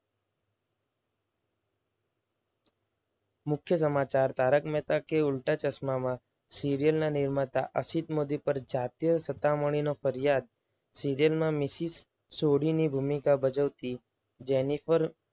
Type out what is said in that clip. મુખ્ય સમાચાર તારક મહેતા કા ઉલ્ટા ચશ્મામાં સિરિયલ ના નિર્માતા અસિત મોદી પર જાતીય સતામણીનો ફરિયાદ. સીરીયલમાં મિસિસ સોઢીની ભૂમિકા ભજવતી જેનિફર